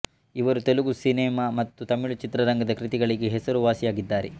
ಇವರು ತೆಲುಗು ಸಿನೆಮಾ ಮತ್ತು ತಮಿಳು ಚಿತ್ರರಂಗದ ಕೃತಿಗಳಿಗೆ ಹೆಸರುವಾಸಿಯಾಗಿದ್ದಾರೆ